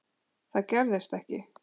Það gerðist ekki.